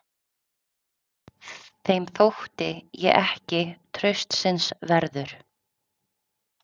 Þeim þótti ég ekki traustsins verður.